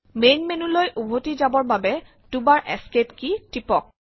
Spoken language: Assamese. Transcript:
মেইন মেনো লৈ উভতি যাবৰ বাবে দুবাৰ এস্কেপ কেই টিপক